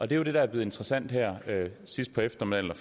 det der er blevet interessant her sidst på eftermiddagen